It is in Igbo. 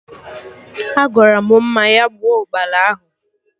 Agwaram Mma ya gbuo Ụkpana ahụ